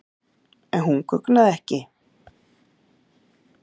En hún guggnaði ekki.